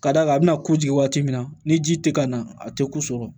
K'a d'a kan a bɛna ko jigin waati min na ni ji tɛ ka na a tɛ ku sɔrɔ